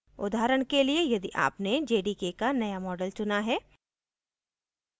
उदाहरण के लिए यदि आपने jdk का नया मॉडल चुना है